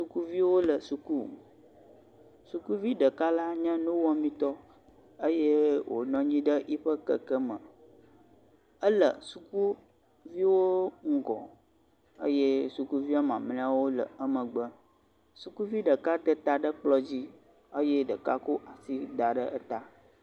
Sukuviwo le suku. Sukuvi ɖeka la nye nuwɔmetɔ eye wonɔ anyi ɖe yoiƒe keke me. Ele sukuviwo ŋgɔ eye sukuvia mamleawo le emegbe. Sukuvi ɖeka de ta ɖe kplɔ dzi eye ɖeka ko asi da ɖe eta.